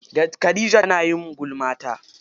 Khadija tayi gulma ta.